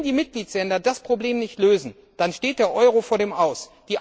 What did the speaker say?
Wenn die Mitgliedstaaten das Problem nicht lösen, dann steht der Euro vor dem Aus.